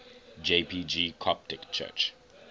jpg coptic church